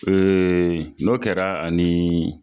n'o kɛra ani